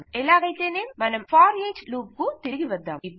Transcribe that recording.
ఎలాగైతేనేం మన for each loop కు తిరిగి వద్దాం